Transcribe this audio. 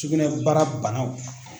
Sugunɛbara banaw